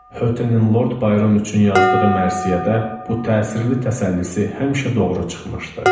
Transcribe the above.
Götenin Lord Byron üçün yazdığı mərsiyədə bu təsirli təsəllisi həmişə doğru çıxmışdı.